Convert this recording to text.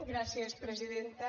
gràcies presidenta